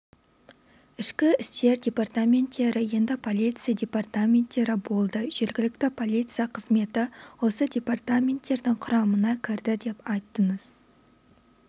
ішкі істер департаменттері енді полиция департаменттері болды жергілікті полиция қызметі осы департаменттің құрамына кірді деп айттыңыз